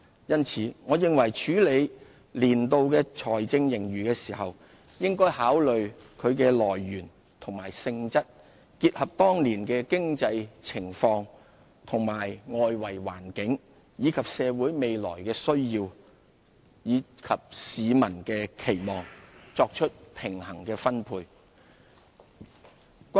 因此，我認為處理年度盈餘的時候，應考慮其來源和性質，結合當年的經濟情況和外圍環境，以及社會未來的需要和市民的期望，作出平衡的分配。